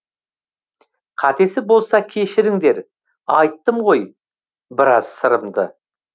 қатесі болса кешіріңдер айттым ғой біраз сырымды